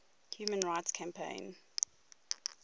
human rights campaign